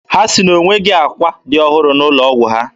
Ha sị na o nweghị akwa dị ohere n'ụlọ ọgwụ ha.